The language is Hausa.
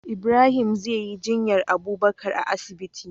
Ibrahim zeyi jinyar abubakar a asibiti